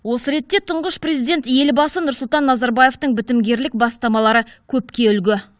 осы ретте тұңғыш президент елбасы нұрсұлтан назарбаевтың бітімгерлік бастамалары көпке үлгі